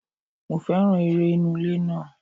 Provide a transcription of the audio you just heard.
Mo féràn eré inú ilé náà.